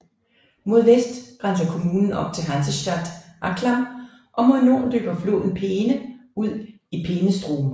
Mod vest grænser kommunen op til Hansestadt Anklam og mod nord løber floden Peene ud i Peenestrom